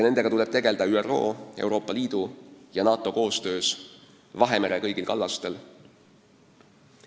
Nendega tuleb tegeleda ÜRO, Euroopa Liidu ja NATO koostöös Vahemere kõigil kallastel.